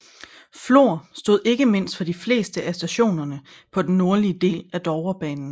Flor stod ikke mindst for de fleste af stationerne på den nordlige del af Dovrebanen